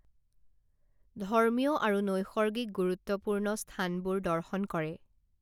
ধৰ্মীয় আৰু নৈসৰ্গিক গুৰুত্বপূৰ্ণ স্হানবোৰ দৰ্শন কৰে